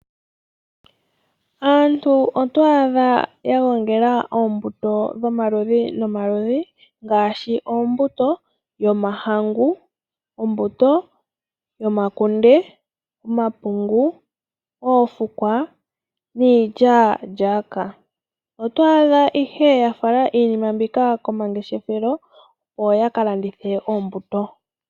Aantu oto adha ya gongela oombuto dhomaludhi nomaludhi, ngaashi ombuto yomahangu, ombuto yomakunde, omapungu, oofukwa niilyaalyaaka. Oto adha ihe ya fala iinima mbika komangeshefelo opo ya ka landithe oombuto.